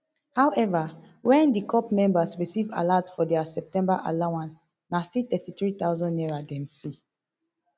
however wen di corp members receive alert for dia september allowance na still thirty-three thousand naira dem see